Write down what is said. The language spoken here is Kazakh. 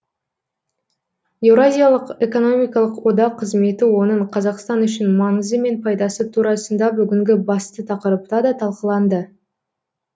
еуразиялық экономикалық одақ қызметі оның қазақстан үшін маңызы мен пайдасы турасында бүгінгі басты тақырыпта да талқыланды